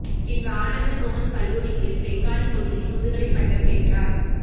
பின்பு அனந்த மோகன் கல்லூரியில் பெங்காலி மொழியில் முதுகலைப் பட்டம் பெற்றார்